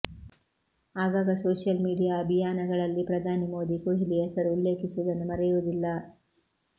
ಆಗಾಗ social media ಅಭಿಯಾನಗಳಲ್ಲಿ ಪ್ರಧಾನಿ ಮೋದಿ ಕೊಹ್ಲಿ ಹೆಸರು ಉಲ್ಲೇಖಿಸುವುದನ್ನು ಮರೆಯುವುದಿಲ್ಲ